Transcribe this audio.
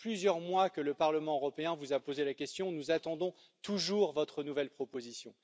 Cela fait plusieurs mois que le Parlement européen vous a posé la question, nous attendons toujours votre nouvelle proposition.